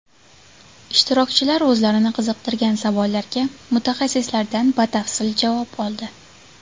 Ishtirokchilar o‘zlarini qiziqtirgan savollarga mutaxassislardan batafsil javob oldi.